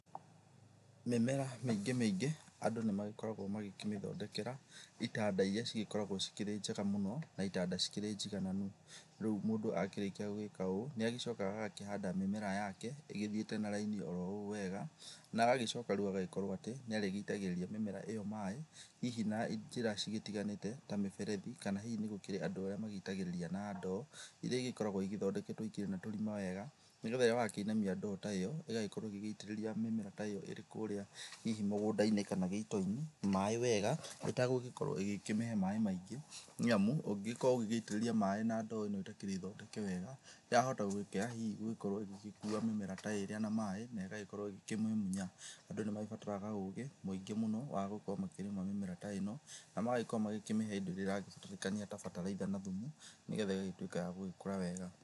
Mĩmera mĩingĩ mĩingĩ andũ nĩmagĩkoragwo makĩmĩthondekera itanda iria cigĩkoragwo cikĩrĩ njega mũno, na itanda cikĩrĩ njigananu, rĩu mũndũ akĩrĩkia gwĩka ũũ, nĩagĩcokaga agakĩhanda mĩmera yake, ĩgĩthiĩte na raini oro ũ wega, na agacoka agagĩkorwo atĩ, nĩarĩgĩitagĩrĩria mĩmera ĩyo maĩ, hihi na njĩra cigĩtiganĩte, ta mĩberethi, kana hihi nĩgũkĩrĩ andũ arĩa magĩitagĩrĩria na ndoo, iria igĩkoragwo igĩthondeketwo ikĩrĩ na tũrima wega, nĩgetha rĩrĩa wakĩinamia ndoo ta ĩyo, ĩgagĩkorwo ĩgĩitĩrĩria mĩmera ta ĩyo ĩrĩ kũrĩa hihi mũgũnda-inĩ kana gĩito-inĩ, na maĩ wega ũtagũkorwo ũgĩkĩhe maĩ maingĩ, nĩamu, ũngĩgĩkorwo ũgĩitĩrĩria maĩ na ndoo ĩtakĩrĩ thondeke wega, yahota gwĩkĩra hihi gũkorwo ĩgĩkua mĩmera ta ĩrĩa na maĩ, negagĩkorwo ĩgĩkĩmĩmunya, andũ nĩmagĩbataraga ũgĩ muingĩ mũno wa gũkorwo makĩrĩma mĩmera ta ĩno, na magagĩkorwo magĩkĩmĩhe indo iria irabatarĩkania ta bataraitha na thumu, nĩgetha ĩgagĩtwĩka ya gũgĩkũra wega.